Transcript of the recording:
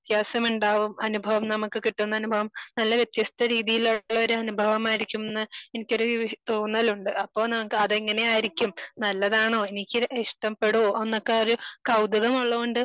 വ്യത്യാസമുണ്ടാവും അനുഭവം നമക്ക് കിട്ടുന്ന അനുഭവം നല്ല വ്യത്യസ്ത രീതിയിലുള്ള ഒരു അനുഭവമായിരിക്കും ന്ന് എനിക്കൊരു തോന്നലുണ്ട്. അപ്പൊ നമുക്ക് അത് എങ്ങനെയായിരിക്കും നല്ലതാണോ എനിക്ക് ഇഷ്ടപ്പെടോ എന്നൊക്കെ ഒരു കൗതുകമുള്ളോണ്ട്